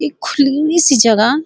इक खुली सी जगा।